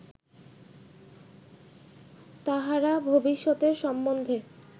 তাঁহারা ভবিষ্যতের সম্বন্ধে